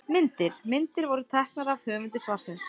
Myndir: Myndir voru teiknaðar af höfundi svarsins.